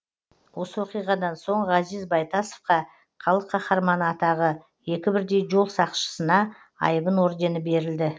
осы оқиғадан соң ғазиз байтасовқа халық қаһарманы атағы екі бірдей жол сақшысына айбын ордені берілді